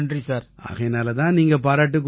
ஆகையினால தான் நீங்க பாராட்டுக்கு உரியவர்